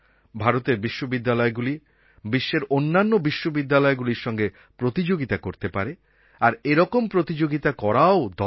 ভারতের বিশ্ববিদ্যালয়গুলি বিশ্বের অন্যান্য বিশ্ববিদ্যালয়গুলির সঙ্গে প্রতিযোগিতা করতে পারে আর এরকম প্রতিযোগিতা করাও দরকার